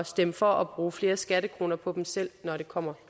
stemme for at bruge flere skattekroner på selv når det kommer